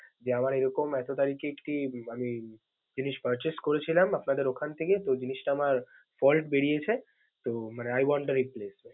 যে আমার এরকম এতো তারিখে একটি আমি জিনিস purchase করেছিলাম আপনাদের ওখান থেকে তো ওই জিনিসটা আমার fault বেরিয়েছে। so মানে I want a replace.